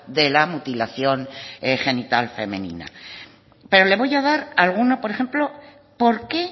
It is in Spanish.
de la mutilación genital femenina pero le voy a dar alguno por ejemplo por qué